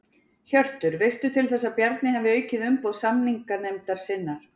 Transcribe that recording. Hjörtur: Veistu til þess að Bjarni hafi aukið umboð samninganefndar sinnar?